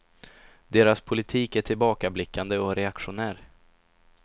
Deras politik är tillbakablickande och reaktionär.